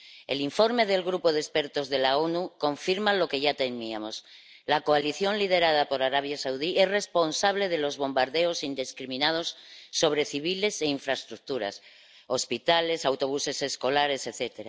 El informe del grupo de expertos de las Naciones Unidas confirma lo que ya temíamos la coalición liderada por Arabia Saudí es responsable de los bombardeos indiscriminados sobre civiles e infraestructuras, hospitales, autobuses escolares, etc.